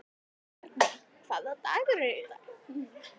Arney, hvaða dagur er í dag?